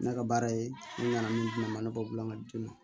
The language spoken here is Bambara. Ne ka baara ye ne nana min di ne ma ne b'a bila ka di ne ma